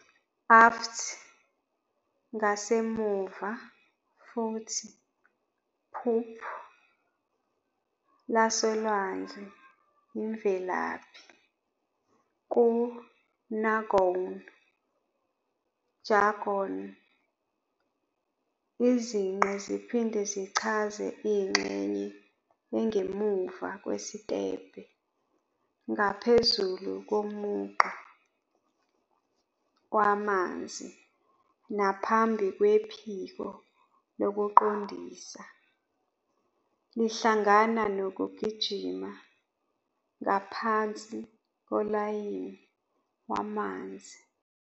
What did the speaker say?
Aft, ngasemuva futhi poop, lasolwandle imvelaphi, ku-nagon jargon, izinqe ziphinde zichaze ingxenye engemuva kwesikebhe ngaphezulu komugqa wamanzi naphambi kwephiko lokuqondisa, lihlangana nokugijima ngaphansi kolayini wamanzi